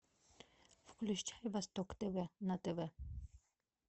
включай восток тв на тв